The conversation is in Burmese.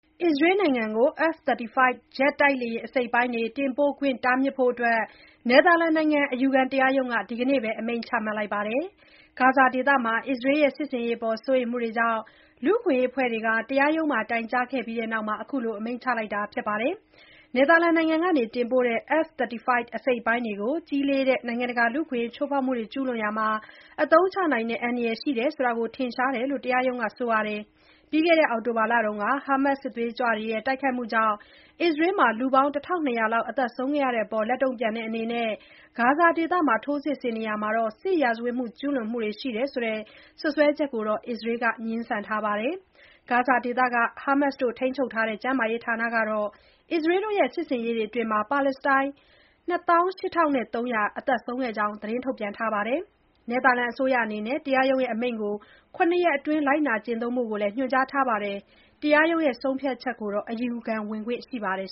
အစ္စရေးနိုင်ငံကို F-35 ဂျက်တိုက်လေယာဉ် အစိတ်အပိုင်းတွေ တင်ပို့ခွင့် တားမြစ်ဖို့ နယ်သာလန်နိုင်ငံ အယူခံတရားရုံးက ဒီကနေ့ပဲ အမိန့်ချလိုက်ပါတယ်။ ဂါဇာဒေသမှာ အစ္စရေးရဲ့ စစ်ဆင်ရေးအပေါ် စိုးရိမ်မှုတွေကြောင့် လူ့အခွင့်အရေး အဖွဲ့တွေက တရားရုံးမှာ တိုင်ကြားခဲ့ပြီးနောက် အခုလို အမိန့်ချလိုက်တာပါ။ နယ်သာလန်နိုင်ငံက တင်ပို့တဲ့ F-35 အစိတ်အပိုင်းတွေကို ကြီးလေးတဲ့ နိုင်ငံတကာ လူ့အခွင့်အရေး ချိုးဖောက်မှုတွေ ကျုးလွန်ရာမှာ အသုံးချနိုင်တဲ့ အန္တရာယ်ရှိတယ်ဆိုတာ ထင်ရှားတယ်လို့လည်း တရားရုံးက ပြောပါတယ်။ ပြီးခဲ့တဲ့ အောက်တိုဘာလက ဟာမတ်စ်စစ်သွေးကြွတွေရဲ့ တိုက်ခိုက်မှုကြောင့် အစ္စရေးမှာ လူ ၁၂၀၀ လောက် သေဆုံးခဲ့တဲ့အပေါ် လက်တုံ့ပြန်တဲ့ အနေနဲ့ ဂါဇာဒေသမှာ ထိုးစစ်ဆင်နေရာမှာ စစ်ရာဇဝတ်မှု ကျုးလွန်မှုတွေ ရှိတယ်ဆိုတဲ့ စွပ်စွဲချက်ကိုတော့ အစ္စရေးက ငြင်းဆန်ထားပါတယ်။ ဂါဇာဒေသက ဟာမတ်စ်ထိန်းချုပ်ထားတဲ့ ကျန်းမာရေးဌာနကတော့ အစ္စရေးရဲ့ စစ်ဆင်ရေးတွေအတွင်း ပါလက်စတိုင်း ၂၈၃၀၀ သေဆုံးကြောင်း သတင်းထုတ်ပြန်ထားတာပါ။ နယ်သာလန်အစိုးရ အနေနဲ့ တရားရုံး အမိန့်ကို ၇ ရက်အတွင်း လိုက်နာကျင့်သုံးဖို့လည်း ညွှန်ကြားထားပါတယ်။ တရားရုံး ဆုံးဖြတ်ချက်ကိုတော့ အယူခံခွင့်ရှိပါတယ်